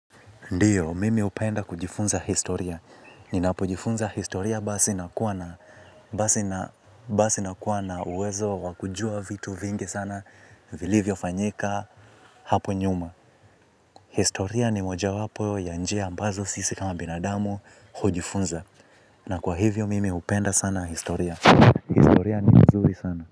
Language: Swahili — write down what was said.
Ndiyo, mimi hupenda kujifunza Historia. Ninapojifunza historia basi nakuwa na uwezo wa kujua vitu vingi sana, vilivyofanyika hapo nyuma. Historia ni mojawapo ya njia ambazo sisi kama binadamu hujifunza. Na kwa hivyo, mimi hupenda sana historia. Historia ni mzuri sana.